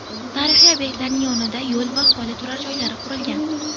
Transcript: Tarixiy obyektlarning o‘rnida yo‘l va aholi turar joylari qurilgan.